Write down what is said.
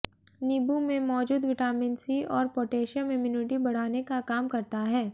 नींबू में मौजूद विटामिन सी और पोटेशियम इम्यूनिटी बढ़ाने का काम करता है